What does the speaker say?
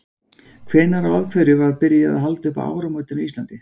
Hvenær og af hverju var byrjað að halda upp á áramótin á Íslandi?